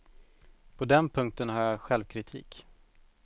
På den punkten har jag självkritik.